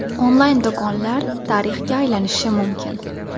Onlayn do‘konlar tarixga aylanishi mumkin.